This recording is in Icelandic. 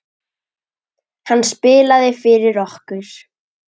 Hann spilaði fyrir okkur!